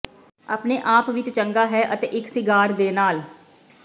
ਆਪਣੇ ਆਪ ਵਿਚ ਚੰਗਾ ਹੈ ਅਤੇ ਇੱਕ ਸਿਗਾਰ ਦੇ ਨਾਲ